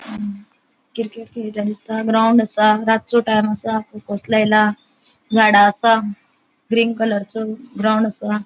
अ cricket खेळता दिसता ground आसा रात्चो टाइम आसा फोकस लायला झाड़ा आसा ग्रीन कलर चो ग्राउन्ड आसा.